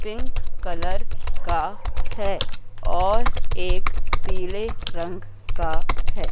Pink colour का है और एक पीले रंग का है।